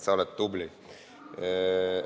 Sa oled tubli!